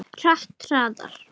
Hratt, hraðar.